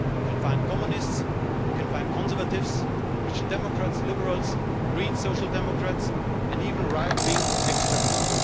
You can find Communists, you can find Conservatives, Christian Democrats, Liberals, Greens, Social Democrats and even right wing extremists.